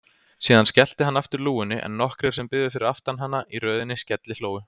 Síðan skellti hann aftur lúgunni en nokkrir sem biðu fyrir aftan hana í röðinni skellihlógu.